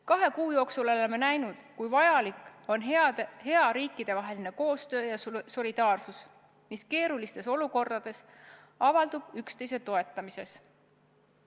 Kahe kuu jooksul oleme näinud, kui vajalik on hea riikidevaheline koostöö ja solidaarsus, mis keerulistes olukordades avaldub üksteise toetamises.